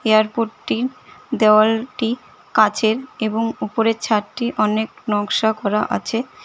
এয়ারপোর্টটি দেওয়ালটি কাঁচের এবং উপরের ছাদটি অনেক নকশা করা আছে।